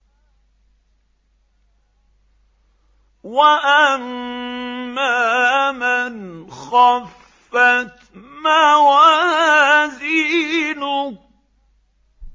وَأَمَّا مَنْ خَفَّتْ مَوَازِينُهُ